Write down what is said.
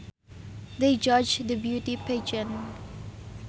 They judged the beauty pageant